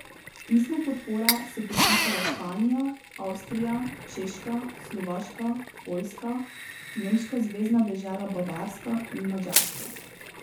Pismo podpore so podpisale Španija, Avstrija, Češka, Slovaška, Poljska, nemška zvezna dežela Bavarska in Madžarska.